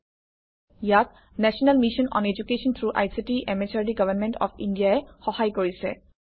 ইয়াক national mission on education through ICT MHRD government of India ই সহায় কৰিছে